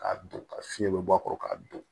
K'a don ka fiɲɛ bɛ bɔ a kɔrɔ k'a don